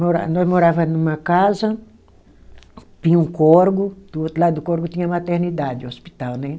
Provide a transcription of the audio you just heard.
Mora, nós morava numa casa, tinha um córrego, do outro lado do córrego tinha a maternidade, hospital, né?